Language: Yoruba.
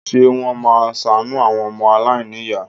Ṣé wọ́n máa ṣàánú àwọn ọmọ aláìníyàá?